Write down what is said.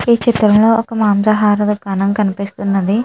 ఈ చిత్రంలో ఒక మాంసాహార దుకాణం కనిపిస్తున్నది.